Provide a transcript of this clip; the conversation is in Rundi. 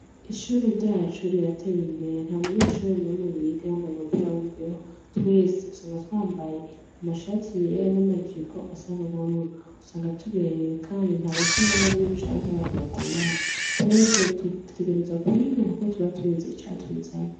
Ishuri ryacu rirateye imbere nta munyeshure wacu yiga yambaye wimbeho twese usanga twambaye amashati yera nama jipo asa nubururu usanga tuberewe kandi ntabasuma bariyo canke abantu bagorana twese dutegerezwa kwiga kuko tuba tuzi icatuzanye .